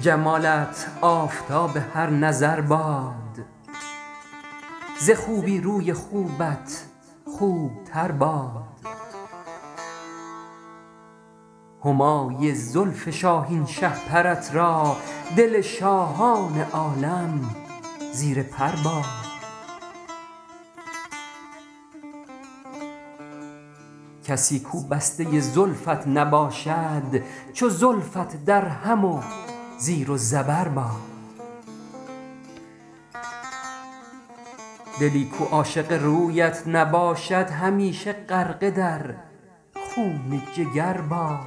جمالت آفتاب هر نظر باد ز خوبی روی خوبت خوب تر باد همای زلف شاهین شهپرت را دل شاهان عالم زیر پر باد کسی کو بسته زلفت نباشد چو زلفت درهم و زیر و زبر باد دلی کو عاشق رویت نباشد همیشه غرقه در خون جگر باد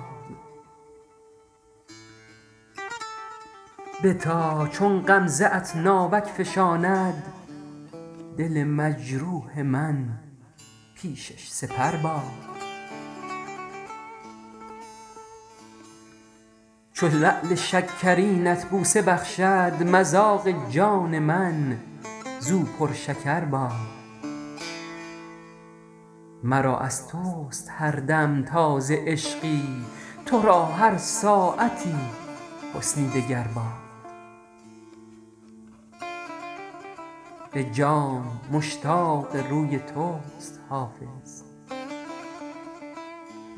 بتا چون غمزه ات ناوک فشاند دل مجروح من پیشش سپر باد چو لعل شکرینت بوسه بخشد مذاق جان من زو پرشکر باد مرا از توست هر دم تازه عشقی تو را هر ساعتی حسنی دگر باد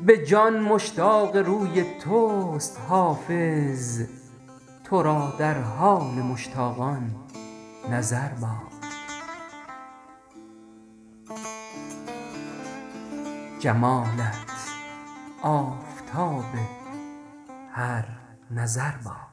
به جان مشتاق روی توست حافظ تو را در حال مشتاقان نظر باد